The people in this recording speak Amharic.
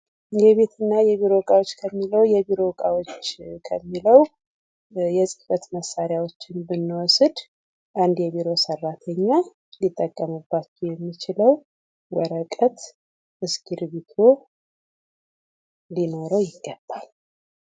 የቤት እና የቢሮ እቃዎች ከሚለው ። የቢሮ እቃዎች ከሚለው የፅህፈት መሳሪያዎችን ብንወስድ አንድ የቢሮ ሰራተኛ ሊጠቀምባቸው የሚችለው ወረቀት እስክሪብቶ ሊኖረው ይገባል ።